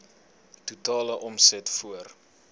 totale omset voor